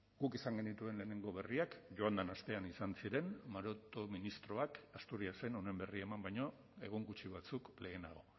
guk izan genituen lehenengo berriak joan den astean izan ziren maroto ministroak asturiasen honen berri eman baino egun gutxi batzuk lehenago